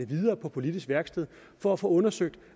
videre på politisk værksted for at få undersøgt